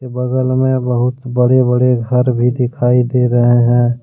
बगल में बहुत बड़े-बड़े घर भी दिखाई दे रहे हैं।